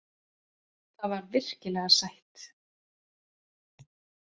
Það var virkilega sætt.